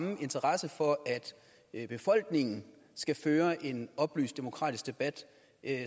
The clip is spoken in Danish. en interesse for at befolkningen skal føre en oplyst og demokratisk debat